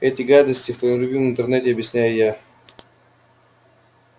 эти гадости в твоём любимом интернете объясняю я